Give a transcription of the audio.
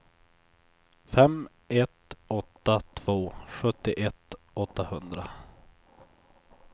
fem ett åtta två sjuttioett åttahundra